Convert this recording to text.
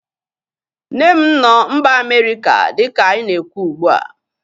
Nne m nọ mba Amerịka dịka anyị na-ekwu ugbua